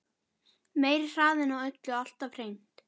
Meiri hraðinn á öllu alltaf hreint.